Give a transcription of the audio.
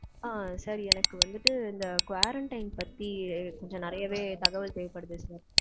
அஹ் sir. எனக்கு வந்துட்டு இந்த quarantine பத்தி கொஞ்சம் நெறையவே தகவல் தேவைப்படுது sir.